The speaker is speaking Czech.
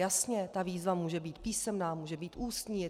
Jasně, ta výzva může být písemná, může být ústní.